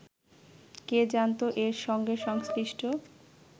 কে জানত এর সঙ্গে সংশ্লিষ্ট